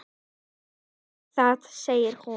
Finnst þér það, segir hún.